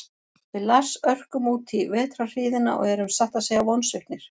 Við Lars örkum útí vetrarhríðina og erum satt að segja vonsviknir.